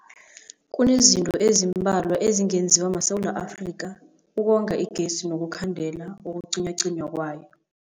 Kunezinto ezimbalwa ezingenziwa maSewula Afrika ukonga igezi nokukhandela ukucinywacinywa kwayo.